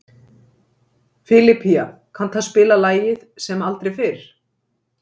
Filipía, kanntu að spila lagið „Sem aldrei fyrr“?